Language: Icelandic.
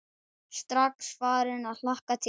Strax farin að hlakka til.